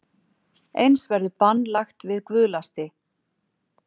Eins verður bann lagt við guðlasti